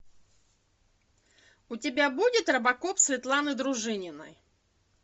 у тебя будет робокоп светланы дружининой